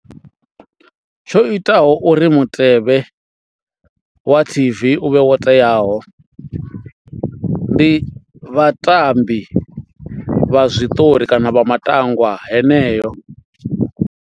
Tsho itaho uri mutevhe wa T_V u vhe wo teaho ndi vhatambi vha zwiṱori kana vha matangwa heneyo.